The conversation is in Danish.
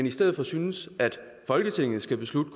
i stedet synes at folketinget skal beslutte